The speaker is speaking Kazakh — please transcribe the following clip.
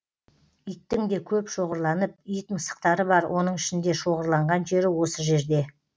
иттің де көп шоғырланып ит мысықтары бар оның ішінде шоғырланған жері осы жерде